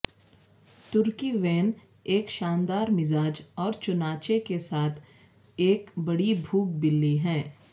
ترکی Van ایک شاندار مزاج اور چنانچہ کے ساتھ ایک بڑی بھوک بلی ہے